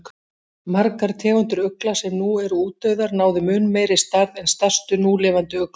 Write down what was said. Margar tegundir ugla sem nú eru útdauðar, náðu mun meiri stærð en stærstu núlifandi uglur.